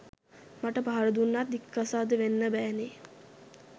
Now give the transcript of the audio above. මට පහරදුන්නත් දික්කසාද වෙන්න බෑනෙ